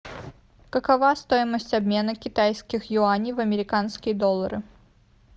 какова стоимость обмена китайских юаней в американские доллары